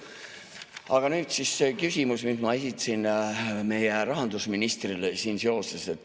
Aga nüüd see küsimus, mille ma esitasin meie rahandusministrile.